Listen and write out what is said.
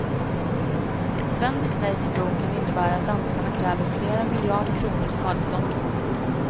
Ett svenskt nej till bron kan innebära att danskarna kräver flera miljarder kronor i skadestånd.